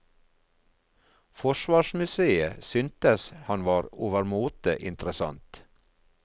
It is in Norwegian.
Forsvarsmuseet syntes han var overmåte interessant.